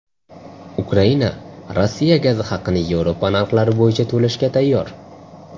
Ukraina Rossiya gazi haqini Yevropa narxlari bo‘yicha to‘lashga tayyor.